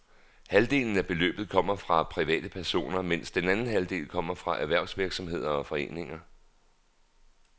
Halvdelen af beløbet kommer fra private personer, mens den anden halvdel kommer fra erhvervsvirksomheder og foreninger.